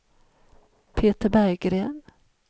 Peter Berggren